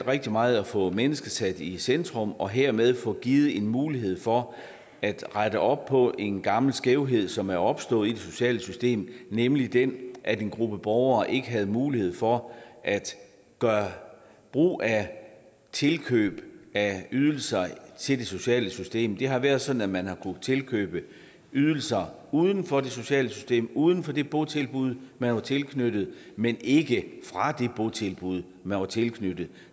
rigtig meget at få mennesket sat i centrum og hermed få givet en mulighed for at rette op på en gammel skævhed som er opstået i det sociale system nemlig den at en gruppe borgere ikke havde mulighed for at gøre brug af tilkøb af ydelser til det sociale system det har været sådan at man har kunnet tilkøbe ydelser uden for det sociale system uden for det botilbud man var tilknyttet men ikke fra det botilbud man var tilknyttet